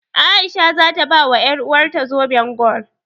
A'isha za ta bawa ƴaruwarta zoben gwal.